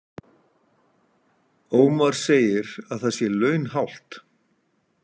Ómar segir að það sé launhált